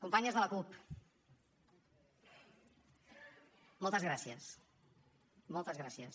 companyes de la cup moltes gràcies moltes gràcies